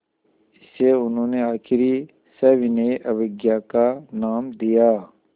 इसे उन्होंने आख़िरी सविनय अवज्ञा का नाम दिया